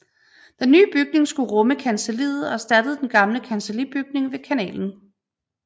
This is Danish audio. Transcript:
Den nye bygning skulle rumme kancelliet og erstattede den gamle kancellibygning ved kanalen